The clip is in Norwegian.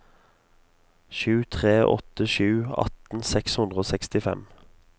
sju tre åtte sju atten seks hundre og sekstifem